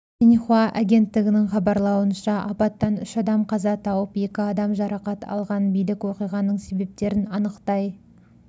синьхуа агенттігінің хабарлауынша апаттан үш адам қаза тауып екі адам жарақат алған билік оқиғаның себептерін анықтай